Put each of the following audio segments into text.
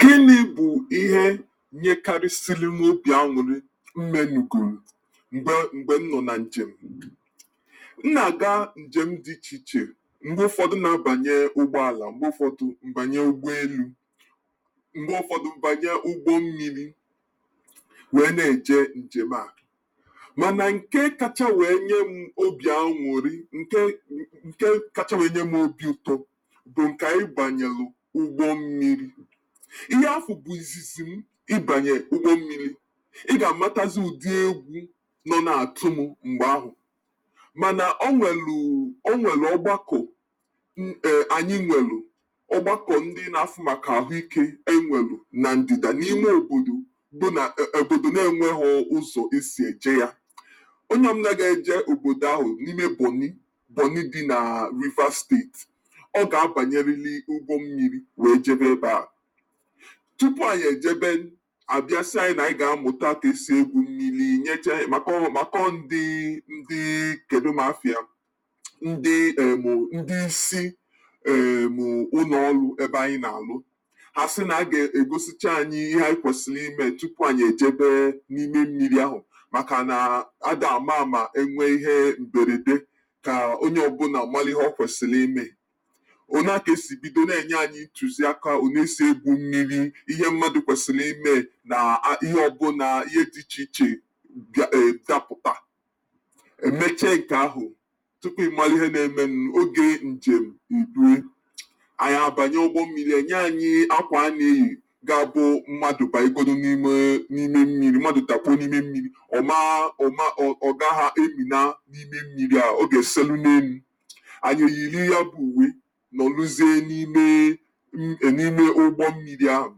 Gịnị bụ ihe nyekalịsịlị mụ obi aṅụlị m menugolu mgbe mgbe m nọ na njem? M na-aga njem dị iche iche. Mgbe ụfọdụ, m na-abanye ụgbọala, mgbe ụfọdụ m banye ụgbọelu, mgbe ụfọdụ m banye ụgbọmmili wee na-eje njem a. Mana nke kacha wee nye m obi anwụrị nke nke kacha wee nye m obi ụtọ bụ nke ayị banyelụ ụgbọ mmiri. Ihe afụ bụ izizi m ịbanye ụgbọ mmiri. Ị ga-amatazị udi egwú nọ na-atụ m mgbe ahụ mana o nwelụ o nwelụ ọ́gbákọ̀ m err anyị nwelụ ọgbakọ ndị na-afụ maka ahụ ike na ndị̀dà n'ime obodo, bụ na ee obodo na-enweghọ ụzọ e si eje ya. Onye ọbụna ga-eje obodo ahụ, n'ime Bọ̀nị́, Bọ̀nị́ dị na Rivers State, ọ ga-abanyelili ụgbọmmiri wee jebe ebe a. Tupu anyị ejebe a bịa sị anyị na anyị ga-amụta ka esi egwu mmili, nyechee maka ọ maka ọ ndị kedụ m afịya ndị erm ndị isi erm ụnọ ọlụ ebe anyị na-alụ. Ha a sị na a ga-egosicha anyị ihe anyị kwesịlị ime tupu anyị ejebe n'ime mmili ahụ makana ada ama àmà e nwee ihe mberede, ka onye ọbụla mara ihe o kwesịlị ime. O naa ka e si bido na-enye anyị ntuziaka one esi egwu mmili, ihe mmadụ kwesịlị ime na a ihe ọbụna ihe dị iche iche bịa e dapụtaa. E meche nke ahụ, tupu ị malụ ihe na-emenụ oge njem erue. Anyị abanye ụgbọ mmili, e nye anyị ákwà a na-eyi ga-abụ mmadụ banyegodi n'ime n'ime mmili mmadụ dakpuo n'ime mmili, ọ maa ọ ma ọ ọ gaghọ emina n'ime mmili ahụ. Ọ ga-eselu n'elu. Anyị eyili ya bụ uwé nọluzie n'ime ni e n'ime ụgbọ mmili ahụ.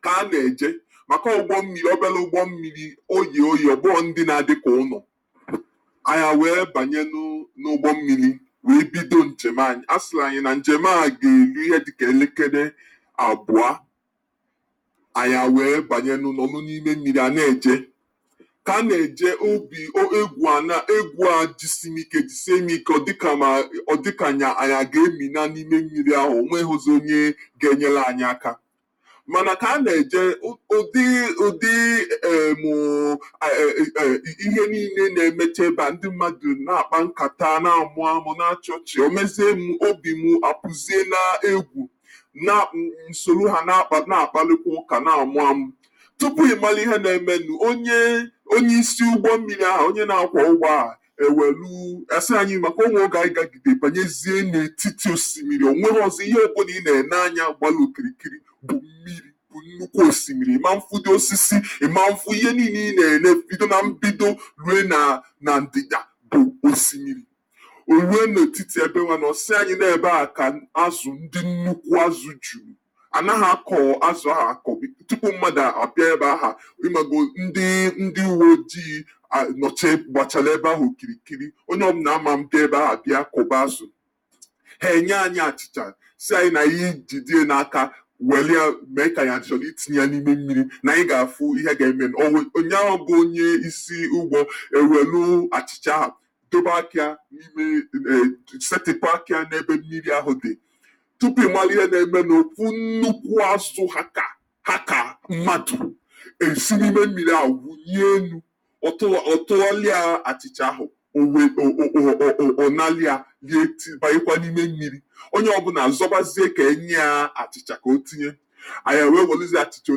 Ka a na-eje, maka ọ ụgbọ mmili obele ụgbọ mmili. O ye óye, ọ bụghọ ndị na-adị ka ụnọ̀. Anyị awee banyenụ n'ụgbọ mmili wee bido njem anyị. A sịrị anyị na njem a ga-eri ihe dị ka elekele abụa. Anyị awee banyenụ nọlọnụ n'ime mmili a na-eje. Ka a na-eje, obi e égwù a na égwù a jisi m ike jisie m ike ọ dị ka m a ọ dị ka anyị a anyị a ga-eminaa n'ime mmili ahụ, o nweghọzị onye ga-enyelụ anyị áká. Mana ka a na-eje, u ụdị ụdị erm e e erm ihe niine na-emecha ebe a, ndị mmadụ na-akpá nkatá, na-amụ amụ na-achị ọchị, o mezie mụ obi mụ apụzie na égwù na m m solu ha na-akpa na-akpalụkwụ ụ́kà na-amụ amụ. Tupu ị malụ ihe na-emenụ, onye onye isi ụgbọ mmili ahụ, onye na-akwọ́ ụgbọ ahụ e welụ, a sị anyị, maka o nwee oge anyị gagidere banyezie n'etiti osimiri o nwerọzị, ihe ọbụna ị na-ene anya gbara okirikiri bụ mmili, nnukwu osimili. Ị man fụdi osisi. Ị man fụ ihe niile ị na-ele bido na mbido rue na ndị̀dà bụ osimili. O rue n'etiti ebenwanụ ọ sị anyị nọọ ebea ka azụ̀, ndị nnukwu ázụ̀ juu. Anaghọ akọ́ azụ ahụ àkụ̀. Tupu mmadụ a bịa ebe aha ịmagonu ndị ndị uwe ojii nọche gbachara ebe ahụ okirikiri. Onye ọbụna aman bịa ebe aha bịa kụ̀ba azụ. Ha enye anyị achịcha, sị anyị na ayị jidie n'aká, welịa mee ka anyị a chọlị itinye ya n'ime mmili, na anyị ga-afụ ihe ga-emenụ. O wee nnyanwa bụ onye isi ụgbọ ewelụ́ achịcha aha, dobe akịa n'ime dị ee setịpụ akịa n'ebe mmiri ahụ dị. Tupu ị malụ ihe na-emenụ, ofu nnukwu azụ ha ka ha ka mmadụ, e si n'ime mmili ahụ wunie enu. Ọ tụọ ọ tụọlịa achịcha ahụ. O wee o o o o o ọ nalịa, lie ti banyekwa n'ime mmili. Onye ọbụla azọbazie ka enyịa achịcha ka o tinye. Anyị a wee welụzie achịcha, o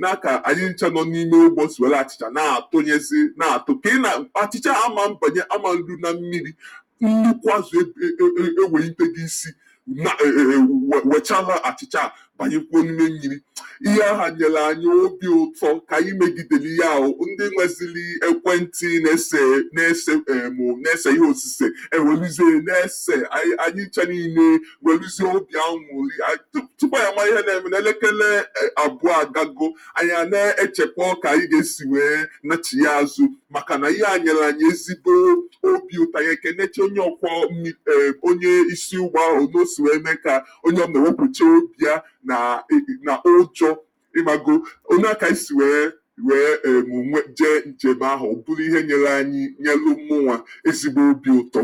naa ka anyị ncha nọ n'ime ụgbọ si welụ achịcha na-atụnyezị na-atụ. Ka ị na achịcha a aman banye aman ru na mmili, nnukwu azụ e e e ewelitego isi ma e e e wechalụ achịcha a banyekwuo n'ime mmili. Ihe aha nyelụ anyị obi ụtọ. Ka anyị megidelụ ige aha, ndị nwezịlị ekwentị na-ese na-ese erm na-ese ihe osise ewelụziee na-ese. Ayị anyị ncha niile welụzie obi anwụlị ayị tup tupu anyị amalụ ihe na-emenụ, elekele eb abụọ agago. Anyị a na echekwọ ka anyị ga-esi wee nachighaa azụ makana ihe a nyele anyị ezigbo obi ụtọ. Anyị ekenechaa onye ọ̀kwọ́ mmi ee onye isi ụgbọ ahụ one o si wee mee ka onye ọbụla wepụchaa obi ya na i na ụj ịmago. One a kayị si wee erm nwe jee njem ahụ. Ọ bụlụ ihe nyele anyị nyelụ mụnwa ezigbo obi ụtọ.